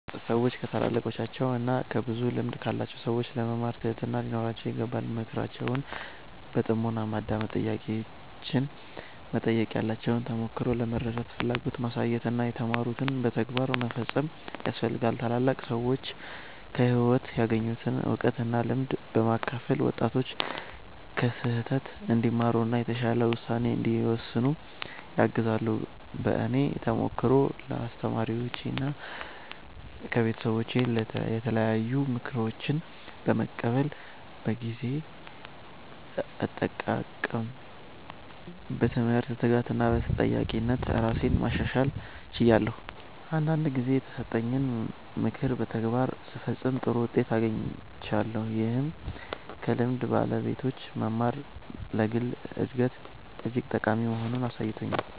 ሰዎች ከታላላቃቸው እና ከብዙ ልምድ ካላቸው ሰዎች ለመማር ትህትና ሊኖራቸው ይገባል። ምክራቸውን በጥሞና ማዳመጥ፣ ጥያቄዎችን መጠየቅ፣ ያላቸውን ተሞክሮ ለመረዳት ፍላጎት ማሳየት እና የተማሩትን በተግባር መፈጸም ያስፈልጋል። ታላላቅ ሰዎች ከህይወት ያገኙትን እውቀት እና ልምድ በማካፈል ወጣቶች ከስህተት እንዲማሩ እና የተሻለ ውሳኔ እንዲወስኑ ያግዛሉ። በእኔ ተሞክሮ ከአስተማሪዎቼና ከቤተሰቦቼ የተለያዩ ምክሮችን በመቀበል በጊዜ አጠቃቀም፣ በትምህርት ትጋት እና በተጠያቂነት ራሴን ማሻሻል ችያለሁ። አንዳንድ ጊዜ የተሰጠኝን ምክር በተግባር ስፈጽም ጥሩ ውጤት አግኝቻለሁ፣ ይህም ከልምድ ባለቤቶች መማር ለግል እድገት እጅግ ጠቃሚ መሆኑን አሳይቶኛል።